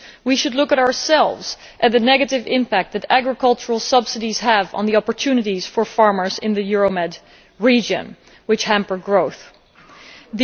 We should look at ourselves, and at the negative impact that agricultural subsidies have on the opportunities for farmers in the Euromed region, hampering growth there.